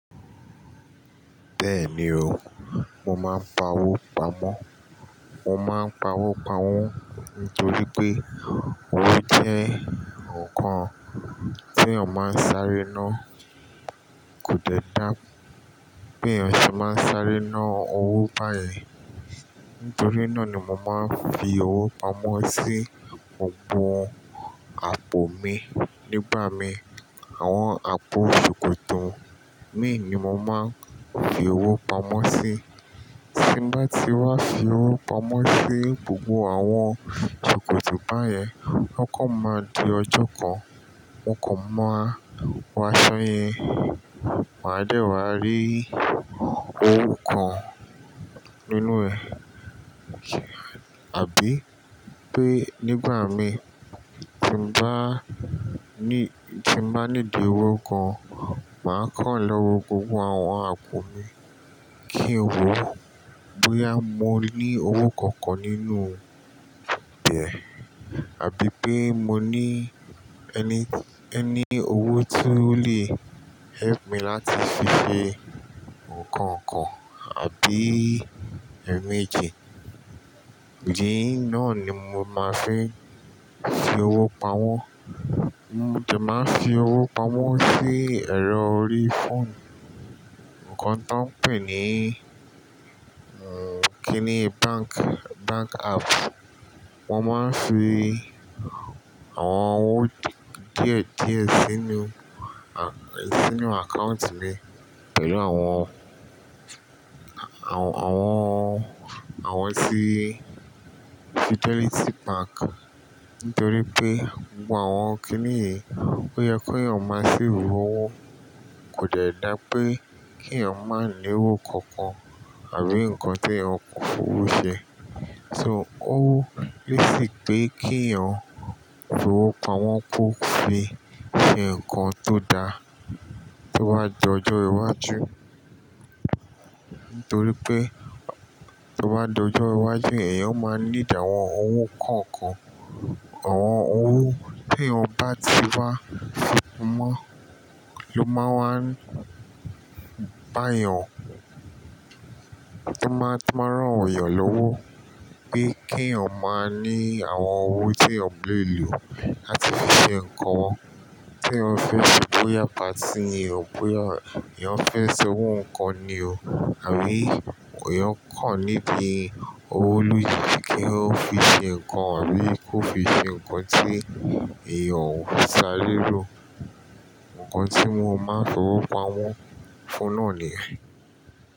Bẹ́ẹ̀ni o, mo máa ń pa owó pamọ́. Mo máa ń pa owó pamọ́ nítorí pé owó jẹ́ nǹkan tí eyan máa ń sáré ná. Kò dẹ́ dá pé èèyàn sì máa ń sáré ná owó báyen Nítorí náà ni mo máa ń fi owó pamọ́ sí gbogbo àpò mi nígbà mí. Àwọn àpò ṣòkòtò mi ni mo máa ń fi owó pamọ́ sí. Tí n bá ti wá fi owó pamọ́ sí gbogbo àwọn ṣòkòtò báyen, lọ́kàn máa di ọjọ́ kan, mo kò mọ̀ wá ṣọ yẹn, màá dẹ̀ wá rí owó kan nínú ẹ̀. Àbí pé nígbà mi tí bá ní, tí bá nídi owó kan, màá kàn lọ́wọ́ gbogbo àwọn àpò mi kí n wo bóyá mo ní owó kankan nínú bẹ̀, àbí pé mo ní any, any owó tí ó lè help mi láti fi ṣe nǹkan kan àbí ẹmeji. Idi náà ni mo máa ń fi, fi owó pamọ́. Mo sì máa ń fi owó pamọ́ sí ẹ̀rọ orí phone, nǹkan tó ń pè ní, kí ni, bank, bank app. Mo máa ń fi àwọn owó díẹ̀ díẹ̀ sínú, sínú account mi pẹ̀lú àwọn, àwọn, àwọn tí Fidelity Bank. Nítorí pé gbogbo àwọn kí nìyí ó yẹ ki eyàn máa save owó. Kò dẹ́ dá pé kí èèyàn máa ní owó kankan àbí nǹkan tí ẹyan fowó ṣe. So owó, lé sì pé kí èèyàn fi owó pamọ́ kó fi ṣe nǹkan tó da tó bá di ọjọ́ iwájú. Nítorí pé tó bá di ọjọ́ iwájú, èèyàn máa nídi àwọn owó kọ̀ọ̀kan. Àwọn owó tí èèyàn bá ti wá fi pamọ́ ló máa wá bá èèyàn, tó máa, tó máa rán èèyàn lówó pé kí èèyàn máa ní àwọn owó tí èèyàn lè lò láti fi ṣe nǹkan tí ẹyan fẹ́ ṣe bóyá patí ẹ, bóyá èèyàn fẹ́ ṣe owó nǹkan ni o àbí èèyàn kàn need owó lójijì kí ó fi ṣe nǹkan àbí kó fi ṣe nǹkan tí èèyàn ò ṣarérò. Nǹkan tí wọ́n máa ń fi owó pamọ́ fún náà ni.